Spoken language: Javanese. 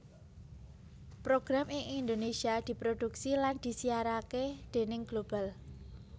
Program ing Indonesia diproduksi lan disiarake déning Global